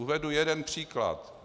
Uvedu jeden příklad.